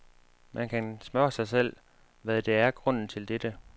Man kan spørge sig selv, hvad der er grunden til dette.